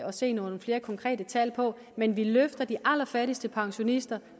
at se nogle flere konkrete tal på men vi løfter de allerfattigste pensionister